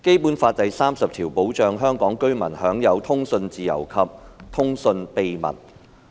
《基本法》第三十條保障香港居民享有通訊自由和通訊秘密。